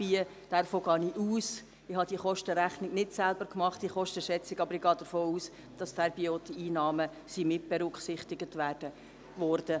Ich habe diese Kostenschätzung nicht selber gemacht, aber ich gehe davon aus, dass dabei auch die Einnahmen mitberücksichtigt wurden.